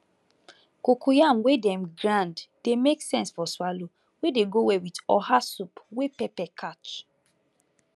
cocoyam wey dem grind dey make sense for swallow wey dey go well with oha soup wey pepper catch